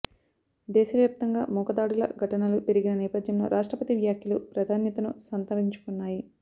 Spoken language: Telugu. దేశవ్యాప్తంగా మూక దాడుల ఘటనలు పెరిగిన నేపథ్యంలో రాష్ట్రపతి వ్యాఖ్యలు ప్రాధాన్యతను సంతరించుకున్నాయి